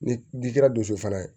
Ni ji kɛra dusu fana ye